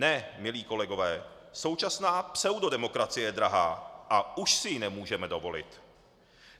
Ne, milí kolegové, současná pseudodemokracie je drahá a už si ji nemůžeme dovolit.